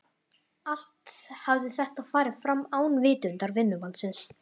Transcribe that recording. Allt hafði þetta farið fram án vitundar vinnumannsins.